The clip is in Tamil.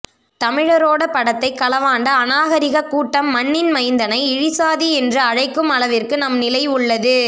தமிழரோட பட்டத்தை களவாண்ட அநாகரீக கூட்டம் மண்ணின் மைந்தனை இழிசாதி என்று அழைக்குமளவிற்கு நம் நிலை உள்ளது